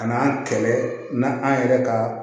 A n'an kɛlɛ n'an yɛrɛ ka